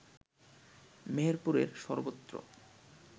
মেহেরপুরের সর্বত্র